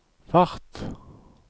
fart